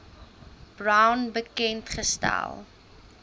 brown bekend gestel